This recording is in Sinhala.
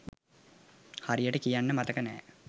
හරියට කියන්න මතක නෑ.